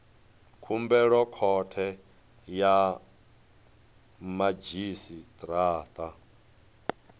khumbelo khothe ya madzhisi ṱira